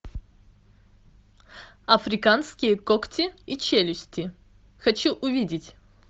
африканские когти и челюсти хочу увидеть